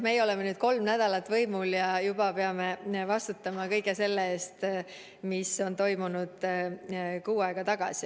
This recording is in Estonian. Meie oleme nüüd kolm nädalat võimul olnud ja juba peame vastutama kõige selle eest, mis on toimunud kuu aega tagasi.